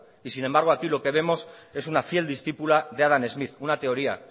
y sin embargo aquí lo que vemos es una fiel discípula de adam smith una teoría